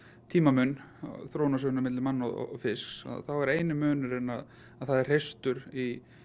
tímamun á þróunarsögu manna og fisks þá er eini munurinn að það er hreistur í